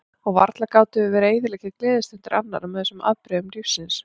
Og varla gátum við verið að eyðileggja gleðistundir annarra með þessum afbrigðum lífsins.